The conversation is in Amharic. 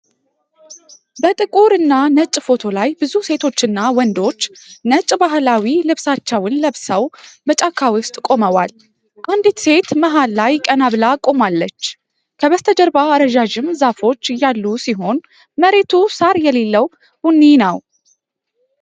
በጥቁርና ነጭ ፎቶ ላይ፣ ብዙ ሴቶችና ወንዶች ነጭ ባህላዊ ልብሶችን ለብሰው በጫካ ውስጥ ቆመዋል። አንዲት ሴት መሃል ላይ ቀና ብላ ቆማለች። ከበስተጀርባ ረዣዥም ዛፎች ያሉ ሲሆን፣ መሬቱ ሣር የሌለው ቡኒ ነው።